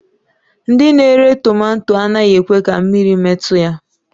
Ndị na-ere tomato anaghị ekwe ka mmiri metụ ya